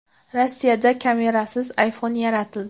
Rossiyada kamerasiz iPhone yaratildi.